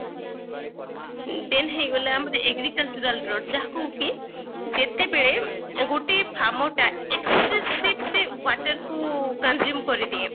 then ହେଇଗଲା ଆମର agricultural brought ଯାହାକୁ କି ଯେତେବେଳେ ଗୋଟିଏ farmer ଟା ସେ ସେ water କୁ consume କରିଦିଏ